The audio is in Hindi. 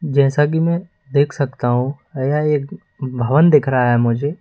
जैसा कि मैं देख सकता हूं या एक भवन दिख रहा है मुझे।